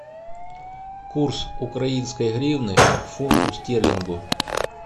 курс украинской гривны к фунту стерлингу